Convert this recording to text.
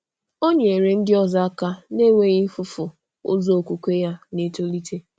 Ọ nyere ndị ọzọ aka na-enweghị um ifufu ụzọ okwukwe ya na-etolite. um